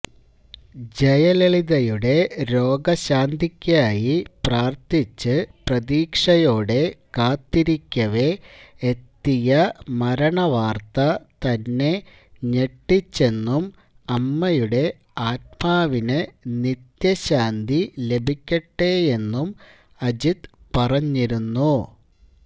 ജയലളിതയുടെ രോഗശാന്തിക്കായി പ്രാര്ത്ഥിച്ച് പ്രതീക്ഷയോടെ കാത്തിരിക്കവേ എത്തിയ മരണവാര്ത്ത തന്നെ ഞെട്ടിച്ചെന്നും അമ്മയുടെ ആത്മാവിന് നിത്യശാന്തി ലഭിക്കെട്ടെയെന്നും അജിത് പറഞ്ഞിരുന്നു